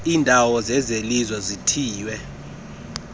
iindawo zezelizwe ezithiywe